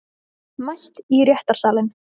Mætt í réttarsalinn